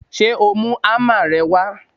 Ṣé o mú ámà rẹ wá?